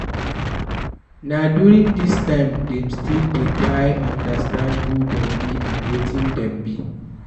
Na during this time dem still dey try understand who dem be and wetin dem be